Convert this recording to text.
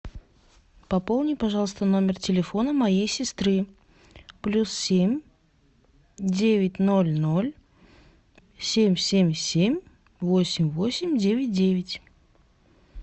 пополни пожалуйста номер телефона моей сестры плюс семь девять ноль ноль семь семь семь восемь восемь девять девять